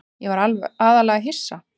Ég var aðallega hissa.